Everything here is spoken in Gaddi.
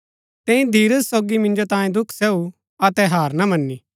तैंई धीरज सोगी मिन्जो तांये दुख सहू अतै हार ना मनी